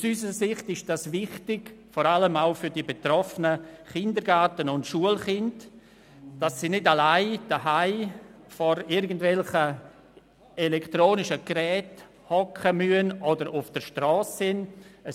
Aus unserer Sicht ist dies wichtig, vor allem auch für die betroffenen Kindergarten- und Schulkinder, sodass sie nicht alleine zu Hause vor irgendwelchen elektronischen Geräten sitzen oder sich auf der Strasse aufhalten.